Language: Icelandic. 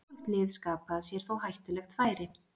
Hvorugt lið skapaði sér þó hættulegt færi.